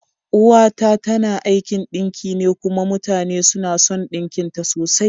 Uwa ta tana aikin ɗinki ne kuma mutane suna son ɗinkin ta sosai.